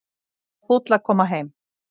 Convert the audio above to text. Var fúll að koma heim